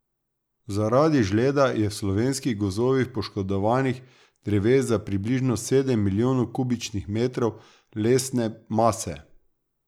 Zaradi žleda je v slovenskih gozdovih poškodovanih dreves za približno sedem milijonov kubičnih metrov lesne mase.